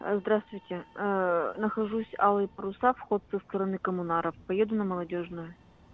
здравствуйте нахожусь алые паруса вход со стороны коммунаров поеду на молодёжную